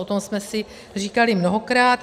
O tom jsme si říkali mnohokrát.